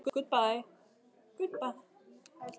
Flýðu undan óvæntri úrkomu